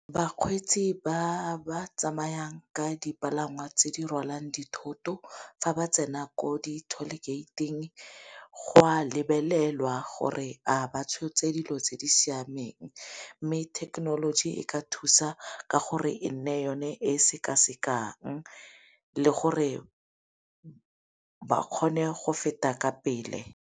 Bakgweetsi ba ba tsamayang ka dipalangwa tse di rwalang dithoto fa ba tsena ko di-toll-gate-ing go a lebelelwa gore a ba tshotse dilo tse di siameng. Mme thekenoloji e ka thusa ka gore e nne yone e sekasekang, le gore ba kgone go feta ka pele.